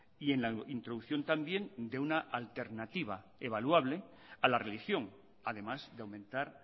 y en la introducción también de una alternativa evaluable a la religión además de aumentar